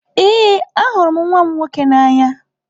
Ee, ahụrụ m nwa m nwoke n'anya.